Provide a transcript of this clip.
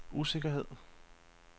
usikkerhed